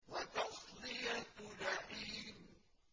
وَتَصْلِيَةُ جَحِيمٍ